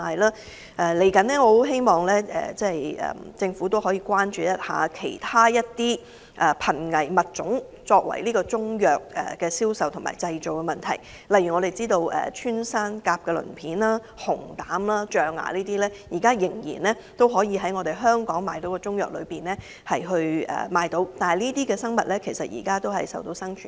展望將來，我希望政府能關注其他瀕危物種被製成中藥作銷售用途的問題，例如我們所知的穿山甲鱗片、熊膽和象牙等仍被當作中藥在港出售，供市民購買，但這些生物現時亦瀕臨絕種。